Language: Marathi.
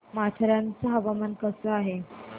माथेरान चं हवामान कसं आहे